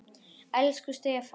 Elsku Stefán.